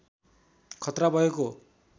खतरा भएको